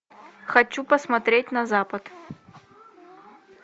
хочу посмотреть на запад